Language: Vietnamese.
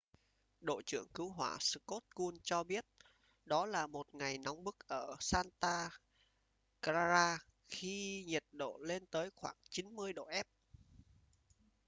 đội trưởng cứu hỏa scott kouns cho biết đó là một ngày nóng bức ở santa clara khi nhiệt độ lên tới khoảng 90 độ f